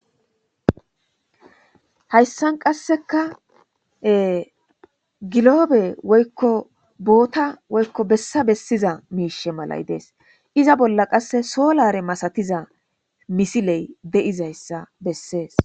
Hayssan qasseka giloobe woykko boota woykko bessa bessiza miishe malay dees iza bolla qasse soolare masatiza misiley de7izayssa bessees.